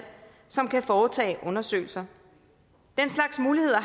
som kan foretage undersøgelser den slags muligheder